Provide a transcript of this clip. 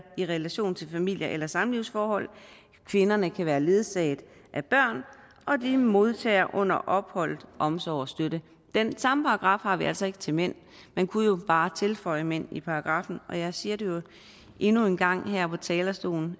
i relation til familie eller samlivsforhold kvinderne kan været ledsaget af børn og de modtager under opholdet omsorg og støtte den samme paragraf har vi altså ikke til mænd man kunne jo bare tilføje mænd i paragraffen og jeg siger det jo endnu en gang her fra talerstolen